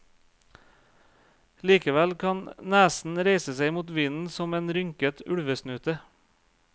Likevel kan nesen reise seg mot vinden som en rynket ulvesnute.